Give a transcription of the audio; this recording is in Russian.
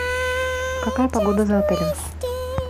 какая погода за отелем